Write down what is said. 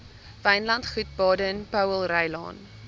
wynlandgoed baden powellrylaan